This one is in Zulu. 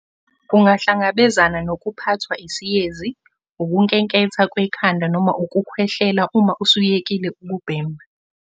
Ungahlangabezana nokuphathwa isiyezi, ukunkenketha kwekhanda noma ukukhwehlela uma usuyekile ukubhema.